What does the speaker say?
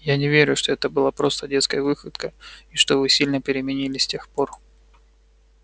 я не верю что это была просто детская выходка и что вы сильно переменились с тех пор